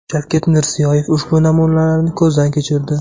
Shavkat Mirziyoyev ushbu namunalarni ko‘zdan kechirdi.